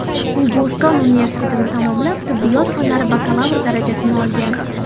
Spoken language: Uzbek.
U Boston universitetini tamomlab, tibbiyot fanlari bakalavri darajasini olgan.